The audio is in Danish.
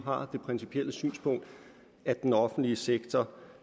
har det principielle synspunkt at den offentlige sektor